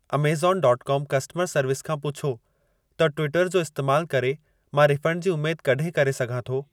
Amazon dot com कस्टमरु service खां पुछो त ट्विटर जो इस्तमालु करे मां रिफंड जी उमेद कॾहिं करे सघां थो/थी